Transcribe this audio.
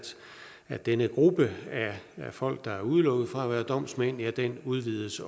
at denne gruppe af folk der er udelukket fra at være domsmænd udvides